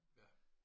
Ja